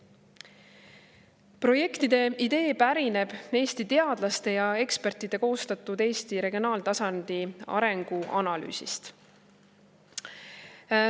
Projektide idee pärineb Eesti teadlaste ja ekspertide koostatud Eesti regionaaltasandi arengu analüüsist.